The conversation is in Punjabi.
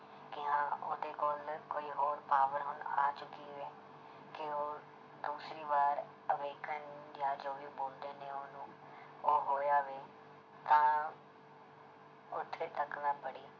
ਕਿ ਹਾਂ ਉਹਦੇ ਕੋਲ ਕੋਈ ਹੋਰ power ਹੁਣ ਆ ਚੁੱਕੀ ਹੈ ਕਿ ਉਹ ਦੂਸਰੀ ਵਾਰ awaken ਜਾਂ ਜੋ ਵੀ ਬੋਲਦੇ ਨੇ ਉਹਨੂੰ ਉਹ ਹੋਇਆ ਵੇ ਤਾਂ ਉੱਥੇ ਤੱਕ ਮੈਂ ਪੜ੍ਹੀ।